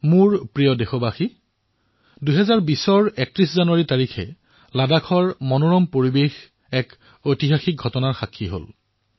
মোৰ মৰমৰ দেশবাসীসকল ৩১ জানুৱাৰী ২০২০ তাৰিখে লাডাখৰ সুন্দৰ পৰিবেশে এক ঐতিহাসিক ঘটনাৰ সাক্ষী হল